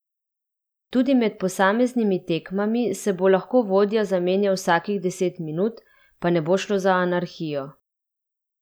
Tudi med posameznimi tekmami se bo lahko vodja zamenjal vsakih deset minut, pa ne bo šlo za anarhijo.